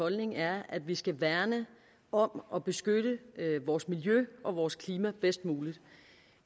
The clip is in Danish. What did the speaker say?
holdning er at vi skal værne om og beskytte vores miljø og vores klima bedst muligt